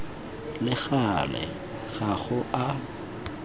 le gale ga go a